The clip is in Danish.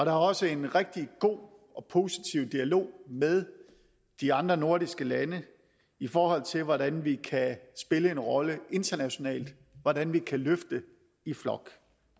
er også en rigtig god og positiv dialog med de andre nordiske lande i forhold til hvordan vi kan spille en rolle internationalt hvordan vi kan løfte i flok